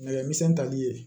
Nɛgɛ misɛn tali ye